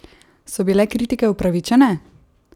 So bile kritike upravičene?